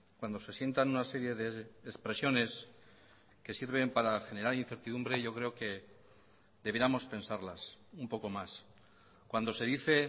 cuando se sientan una serie de expresiones que sirven para generar incertidumbre yo creo que debiéramos pensarlas un poco más cuando se dice